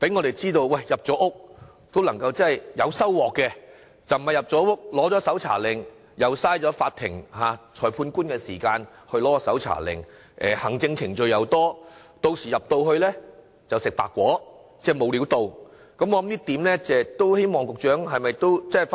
讓我們知道進入住宅搜證是有收穫的，取得搜查令不會浪費法庭、裁判官的時間，或需要繁多的行政程序，又或進入住宅後卻沒有任何收穫，希望局長回去三思這一點。